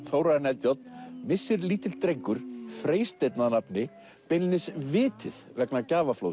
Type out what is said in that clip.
Þórarin Eldjárn missir lítill drengur Freysteinn að nafni beinlínis vitið vegna